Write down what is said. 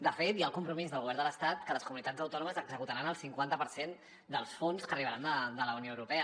de fet hi ha el compromís del govern de l’estat que les comunitats autònomes executaran el cinquanta per cent dels fons que arribaran de la unió europea